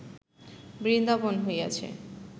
বৃন্দাবন হইয়াছে